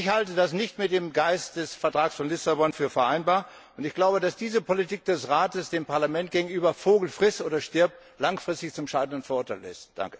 Ich halte das nicht mit dem Geist des Vertrags von Lissabon für vereinbar, und ich glaube, dass diese Politik des Rates dem Parlament gegenüber Vogel friss oder stirb! langfristig zum Scheitern verurteilt ist.